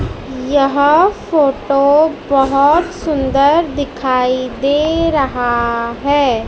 यह फोटो बहुत सुंदर दिखाई दे रहा है।